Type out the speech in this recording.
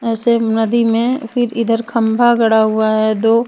ऐसे नदी में फिर इधर खंबा गड़ा हुआ है दो.